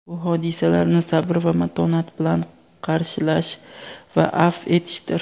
bu hodisalarni sabr va matonat bilan qarshilash va afv etishdir.